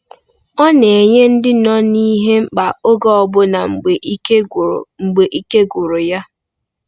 Ọ na-enye ndị nọ n’ihe mkpa oge ọbụna mgbe ike gwụrụ mgbe ike gwụrụ ya.